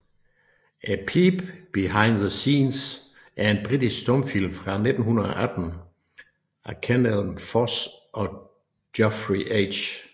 A Peep Behind the Scenes er en britisk stumfilm fra 1918 af Kenelm Foss og Geoffrey H